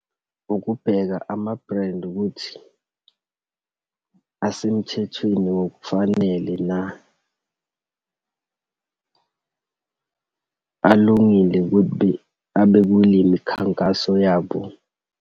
Ukubheka ama-brand ukuthi asemthethweni ngokufanele na. Alungile ukuthi abe kule mikhankaso yabo.